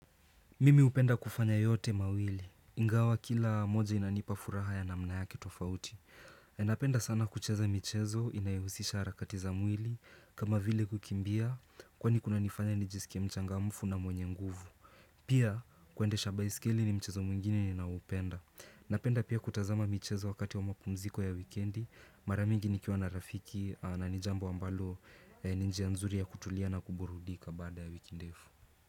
Mimi hupenda kufanya yote mawili, ingawa kila moja inanipa furaha ya namna yake tofauti Napenda sana kucheza michezo inayohusisha harakati za mwili kama vile kukimbia Kwani kunanifanya nijisikie mchangamfu na mwenye nguvu Pia kuendesha baiskeli ni mchezo mwingine ninaopenda Napenda pia kutazama michezo wakati wa mapumziko ya wikendi Mara mingi nikiwa na rafiki na ni jambo ambalo ni njia nzuri ya kutulia na kuburudika baada ya wiki ndefu.